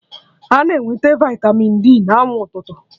A na-enweta vitamịn D na anwụ ụtụtụ